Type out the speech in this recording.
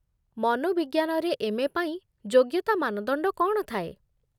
ମନୋବିଜ୍ଞାନରେ M. A ଯୋଗ୍ୟତା ମାନଦଣ୍ଡ କ'ଣ ଥାଏ?